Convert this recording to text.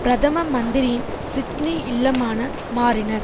பிரதம மந்திரியின் சிட்னி இல்லமான மாறினர்